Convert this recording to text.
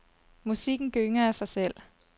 Musikken gynger af sig selv.